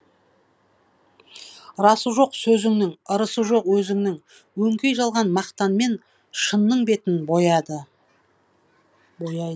расы жоқ сөзінің ырысы жоқ өзінің өңкей жалған мақтанмен шынның бетін бояды